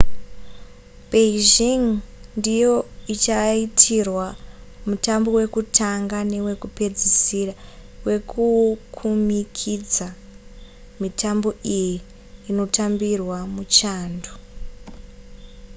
beijing ndiyo ichaitirwa mutambo wekutanga newekupedzisira wekukumikidza mitambo iyi inotambirwa muchando